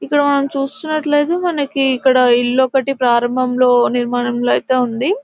ఇక్కడ మనం చూసినట్లయితే మనకి ఇక్కడ ఇల్లు ఒకటి ప్రారంభంలో నిర్మాణంలో అయితే ఉంది.